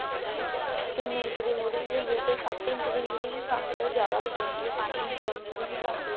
ਟੀਨ inch ਦੀ ਮੁਰ੍ਹੀ ਵੀ ਹੁੰਦੀ ਹੈ ਸੱਤ ਇੰਚ ਦੀ ਮੁਰ੍ਹੀ ਵੀ ਪਾਉਂਦੇ ਆ ਉਹ ਜਿਆਦਾ ਬੜੀ ਹੁੰਦੀ ਆ ਪੰਜ ਇੰਚ ਦੀ ਮੁਰ੍ਹੀ ਵੀ ਪਾਉਂਦੇ ਆ